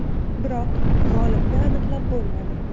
Biroq g‘olibni aniqlab bo‘lmadi.